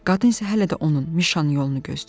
Qadın isə hələ də onun Mişanın yolunu gözləyir.